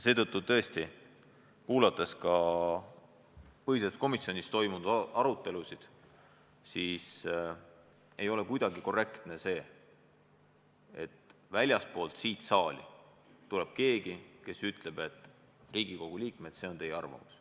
Tõesti, mis puutub ka põhiseaduskomisjonis toimunud aruteludesse – ei ole korrektne, et väljastpoolt seda saali tuleb keegi, kes ütleb, et Riigikogu liikmed, see on teie arvamus.